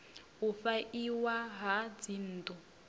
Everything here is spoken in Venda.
u fha iwa ha dzinnḓu